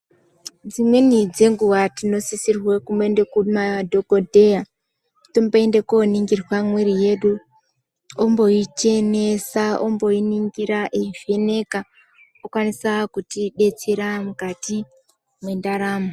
Dzimweni dzenguva tinosisirwe kumboende kuma dhokodheya tomboende koningirwa mwiri yedu omboichenesa omboi ningira eivheneka okwanisa kutibetsera mukati mendaramo.